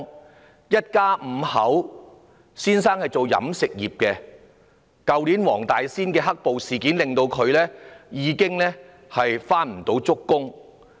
他們一家五口，丈夫從事飲食業，去年黃大仙"黑暴"事件令他開工不足。